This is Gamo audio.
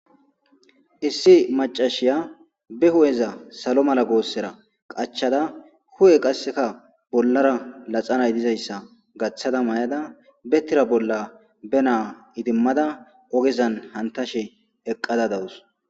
Issi macashiya be hu'eza salo mala goossera qachada hu'e qasseka bollara laxanay dizayssa gaththada may'ada bettira bolla be naa idimmada ogezan hantashe eqqada dawus.